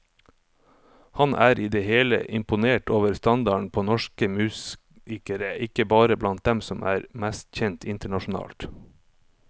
Han er i det hele imponert over standarden på norsk musikere, ikke bare blant dem som er mest kjent internasjonalt.